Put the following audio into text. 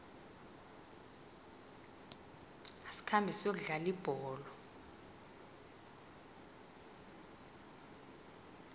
asikhambe siyokudlala ibholo